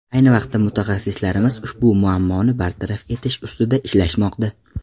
Ayni vaqtda mutaxassislarimiz ushbu muammoni bartaraf etish ustida ishlashmoqda.